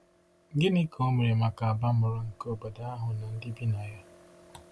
Gịnị ka o mere maka abamuru nke obodo ahụ na ndị bi na ya?